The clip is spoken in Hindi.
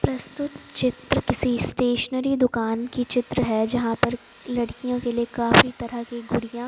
प्रस्तुत चित्र किसी स्टेशनरी दुकान की चित्र है जहां पर लड़कियों के लिए काफी तरह की गुड़ियां--